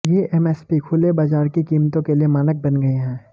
ये एमएसपी खुले बाजार की कीमतों के लिए मानक बन गए हैं